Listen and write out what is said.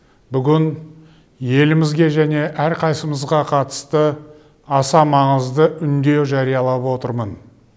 бүгін елімізге және әрқайсымызға қатысты аса маңызды үндеу жариялап отырмын